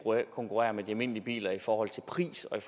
konkurrere med de almindelige biler i forhold til pris og i